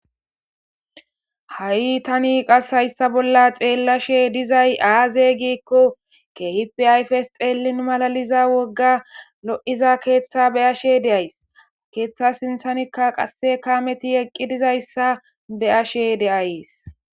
ha7i tani qas hayssa bolla xeellashe dizay aaze giikko kehip ayfes xeelin malaliza wogga lo7iza keeththa be ashe deays keeththa sinthanikka qasse kaameti eqqi dizayssa be ashe deays